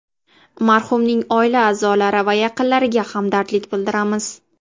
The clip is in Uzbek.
Marhumning oila a’zolari va yaqinlariga hamdardlik bildiramiz.